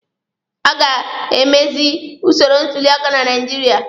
A ga emezi usoro ntuli aka na Naijiria.